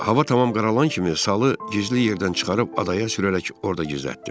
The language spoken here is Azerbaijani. Hava tamam qaralan kimi salı gizli yerdən çıxarıb adaya sürərək orda gizlətdim.